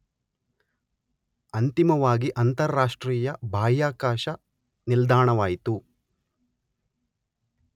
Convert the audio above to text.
ಅಂತಿಮವಾಗಿ ಅಂತರರಾಷ್ಟ್ರೀಯ ಬಾಹ್ಯಾಕಾಶ ನಿಲ್ದಾಣವಾಯಿತು.